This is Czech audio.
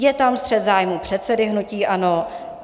Je tam střet zájmů předsedy hnutí ANO.